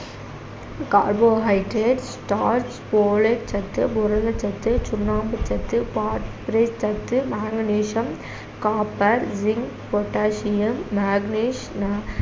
carbohydrate starch சத்து, புரதச்சத்து, சுண்ணாம்புசத்து, phosphorate சத்து, magnesium, copper, zinc, potassium, manganese ந~